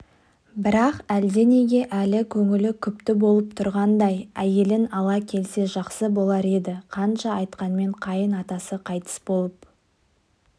бірақ әлденеге әлі көңілі күпті болып тұрғандай әйелін ала келсе жақсы болар еді қанша айтқанмен қайын-атасы қайтыс болып